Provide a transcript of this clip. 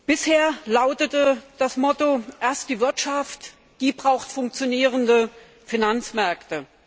Bisher lautete das Motto Erst die Wirtschaft, die braucht funktionierende Finanzmärkte.